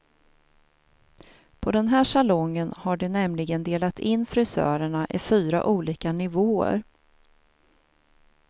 På den här salongen har de nämligen delat in frisörerna i fyra olika nivåer.